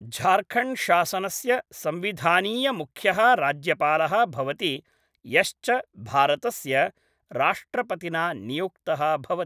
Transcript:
झारखण्ड्शासनस्य संविधानीयमुख्यः राज्यपालः भवति यश्च भारतस्य राष्ट्रपतिना नियुक्तः भवति।